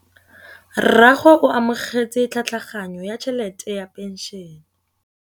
Rragwe o amogetse tlhatlhaganyô ya tšhelête ya phenšene.